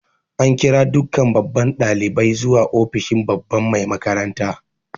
An kira dukkan babban dalibai zuwa ofishin babba Mai makaranta.